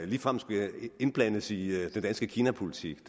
ligefrem skulle indblandes i den danske kinapolitik